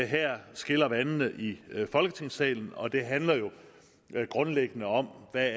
her skiller vandene i folketingssalen og det handler grundlæggende om hvad